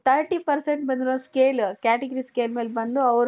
thirty percent ಬಂದಿರೋ scale category scale ಮೇಲೆ ಬಂದು ಅವರು